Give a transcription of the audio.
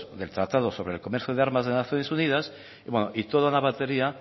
del tratado sobre el comercio de armas de naciones unidas y toda la batería